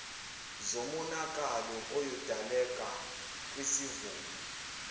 zomonakalo oyodaleka kwisivuno